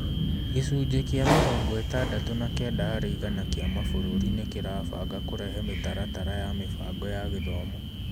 Gĩcunji kĩa mĩrongo ĩtandatu na kenda harĩ igana kĩa mabũrũri nĩ kĩrabanga kũrehe mĩtaratara ya mĩbango ya gĩthomo.